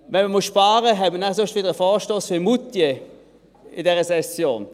Wenn man sparen muss, erhält man dafür einen Vorstoss zu Moutier, wie in dieser Session